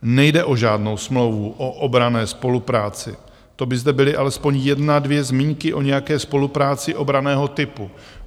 Nejde o žádnou smlouvu o obranné spolupráci, to by zde byly alespoň jedna dvě zmínky o nějaké spolupráci obranného typu.